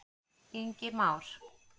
Ingi Már.